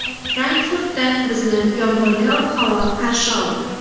Frankfurtda bizni yomg‘irli ob-havo qarshi oldi.